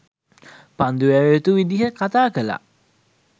පන්දු යැවිය යුතු විදිහ කතා කළා